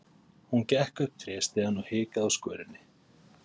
Hún gekk upp tréstigann og hikaði á skörinni.